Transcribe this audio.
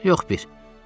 Yox bir.